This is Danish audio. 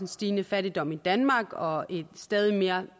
stigende fattigdom i danmark og et stadig mere